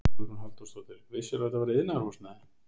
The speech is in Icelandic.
Hugrún Halldórsdóttir: Vissirðu að þetta væri iðnaðarhúsnæði?